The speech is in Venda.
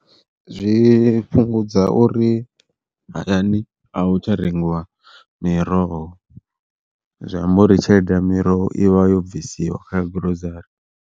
Zwi fhungudza uri hayani a hu tsha rengiwa miroho zwi amba uri tshelede ya miroho ivha yo bvisiwa kha gurozari.